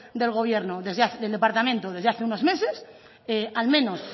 del gobierno desde el departamento desde hace unos meses al menos